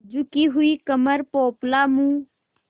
झुकी हुई कमर पोपला मुँह